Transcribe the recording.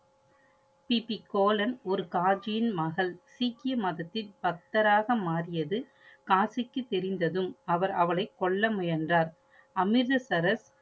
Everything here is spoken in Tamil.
கி. பி. கோலன் ஒரு காஜியின் மகள். சீக்கிய மதத்தின் பக்தராக மாறியது காசிக்கு தெரிந்ததும் அவர் அவளை கொல்ல முயன்றார். அமிர்தசரஸ்